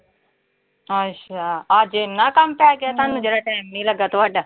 ਅੱਛਾ ਅੱਜ ਇੰਨਾ ਕੰਮ ਪੈ ਗਿਆ ਤੁਹਾਨੂੰ ਜਿਹੜਾ ਟਾਈਮ ਨੀਂ ਲੱਗਾ ਤੁਹਾਡਾ।